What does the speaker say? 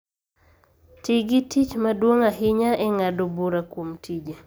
Ti gi tich maduong� ahinya e ng�ado bura kuom tije